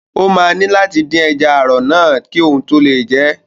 Ó máa ní láti dín ẹja ààrọ̀ náà kí òun tó lè jẹ ẹ́.